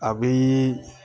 A bi